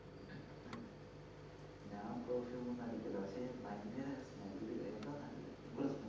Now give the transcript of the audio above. ഞാൻ perfume ഒന്നുമടിക്കില്ല പക്ഷെ ഭയങ്കര smell ഉ എന്തോ നല്ല ഉഗ്രൻ smell ഉ